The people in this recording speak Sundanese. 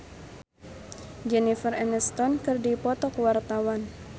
Lesti Andryani jeung Jennifer Aniston keur dipoto ku wartawan